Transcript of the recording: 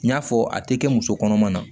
N y'a fɔ a tɛ kɛ musokɔnɔma na